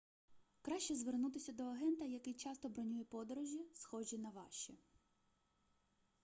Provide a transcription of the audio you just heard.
краще звернутися до агента який часто бронює подорожі схожі на ваші